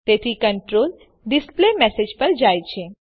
તેથી control display message પર જાય છે